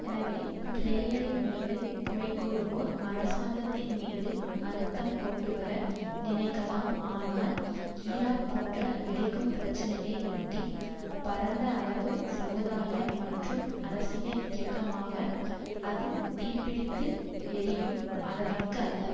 எனவே பிளேயரின் மீது குறைகூறுவோர் அரசாங்கத்தின் மீது அழுத்தம் கொண்டுவர நினைக்கலாம் ஆனால் ஈராக் போன்ற வெடிக்கும் பிரச்சினையை ஒட்டி பரந்த அளவு சமுதாய மற்றும் அரசியல் இயக்கமாக அது தீப்பிடித்து எரியும் அளவிற்கு அல்ல